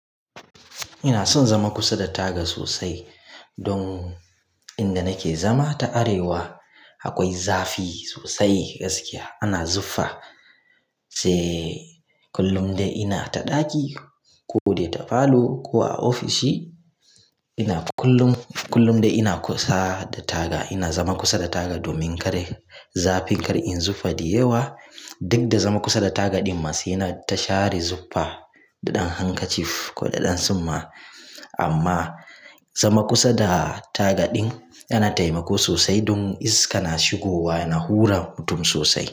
Ina son zama kusa da taga sosai. Don inda nake zama ta arewa akwai zafi sosai. Gaskiya ana zufa. Se kullum dai ina ta ɗaki ko de ta falo ko a ofishin ina kullum dai ina zama kusa da taga domin zafin kar inyi zufa da yawa. Duk da zama kusa da taga ɗin ma sai na ta share zufa da ɗan handkerchief ko da ɗan summa. Amma zama kusa da taga ɗin yana taimako sosai don iska na shigowa na hura mutum sosai.